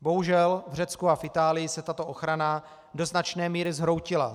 Bohužel v Řecku a v Itálii se tato ochrana do značné míry zhroutila.